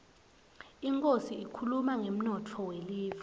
inkhosi ikhuluma ngemnotfo welive